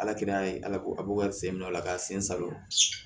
Ala kir'a ye ala ko a b'o ka sen bila ola k'a sen salon